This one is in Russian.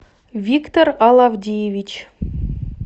виктор алавдиевич